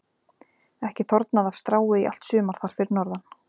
Ekki þornað af strái í allt sumar þar fyrir norðan.